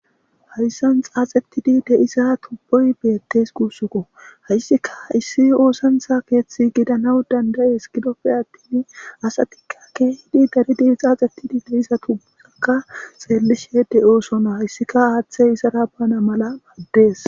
hayssan xaaxetidi deisa tubboy beettes guussuko hayssika issi oosantha keeththi gidanaw dandayees gidopfe attin asatikka kehidi daridi xaaxetidi de issa tubbusakka xeellishe de7oosona hayssika aaththey isara bana mala maddees